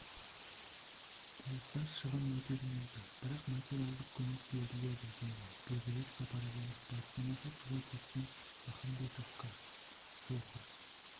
болса шығын өтелмейді бірақ материалдық көмек беріледі деді бердібек сапарбаев баспанасы суға кеткен махамбетовка вохр